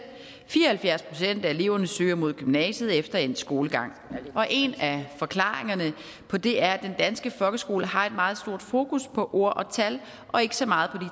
fire og halvfjerds procent af eleverne søger mod gymnasiet efter endt skolegang en af forklaringerne på det er at den danske folkeskole har et meget stort fokus på ord og tal og ikke så meget på